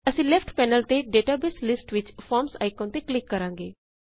ਅਸੀਂ left panel ਤੇ database list ਵਿਚ ਫਾਰਮਜ਼ ਆਇਕਨ ਤੇ ਕਲਿਕ ਕਰਾਂਗੇ